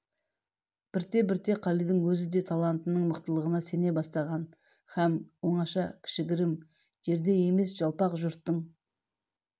бірте-бірте қалидың өз де талантының мықтылығына сене бастаған һәм оңаша кішігірім жерде емес жалпақ жұрттың